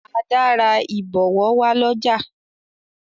Ada rà ibọwọ wá l'ọja.